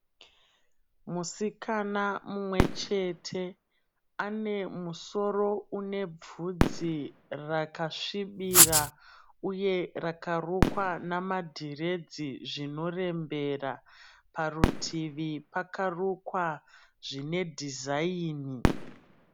Musikana mumwe chete ane musoro une bvudzi rakasvibira uye rakarukwa namadhiredzi zvinorembera. Parutivi pakarukwa zvine dhizaini.